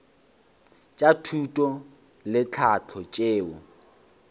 tša thuto le tlhahlo tšeo